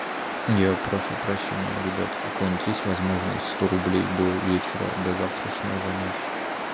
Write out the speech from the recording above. я прошу прощения ребят у кого-нибудь есть возможность сто рублей до вечера до завтрашнего занять